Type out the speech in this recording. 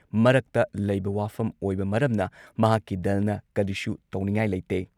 ꯃꯔꯛꯇ ꯂꯩꯕ ꯋꯥꯐꯝ ꯑꯣꯏꯕ ꯃꯔꯝꯅ ꯃꯍꯥꯛꯀꯤ ꯗꯜꯅ ꯀꯔꯤꯁꯨ ꯇꯧꯅꯤꯉꯥꯏ ꯂꯩꯇꯦ ꯫